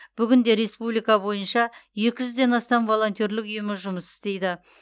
бүгінде республика бойынша екі жүзден астам волонтерлік ұйымы жұмыс істейді